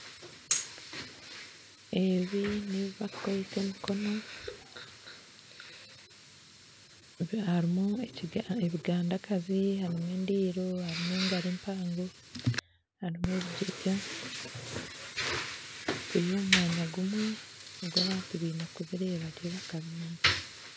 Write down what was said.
Ebi n'ebi barikukoreesa emikono. Harimu ebiganda kazi, harimu endiiro, harimu engari empango, harimu ebigyega biri omu mwanya gumwe ogu abantu baine kubireeba rero bakabimanya.